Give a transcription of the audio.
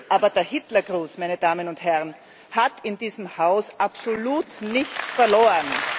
Aber der Hitlergruß, meine Damen und Herren, hat in diesem Haus absolut nichts verloren.